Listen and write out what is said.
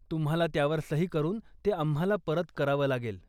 तुम्हाला त्यावर सही करून ते आम्हाला परत करावं लागेल.